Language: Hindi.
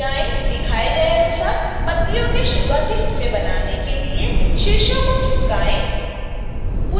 दिखाए गए अनुसार पत्तियों के शुरुआती हिस्से बनाने के लिए शीर्षों को खिसकाएँ